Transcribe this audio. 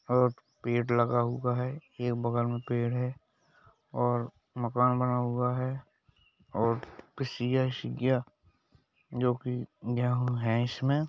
पेड़ लगा हुआ है एक बगल में पेड़ है और मकान बना हुआ है और किसी ऐसी जो कि गेहूं है इसमें --